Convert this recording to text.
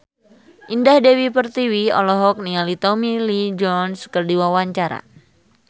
Indah Dewi Pertiwi olohok ningali Tommy Lee Jones keur diwawancara